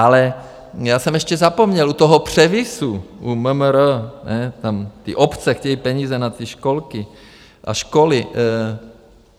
Ale já jsem ještě zapomněl u toho převisu u MMR, tam ty obce chtějí peníze na ty školky a školy.